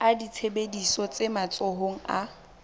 a ditsebiso tse matsohong a